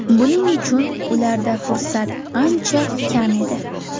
Buning uchun ularda fursat ancha kam edi.